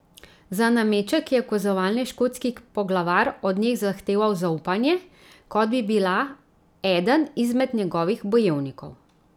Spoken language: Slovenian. Za nameček je ukazovalni škotski poglavar od nje zahteval zaupanje, kot bi bila eden izmed njegovih bojevnikov.